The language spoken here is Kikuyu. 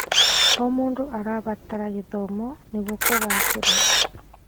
O mũndũ arabatara gĩthomo nĩguo kũgacĩĩra.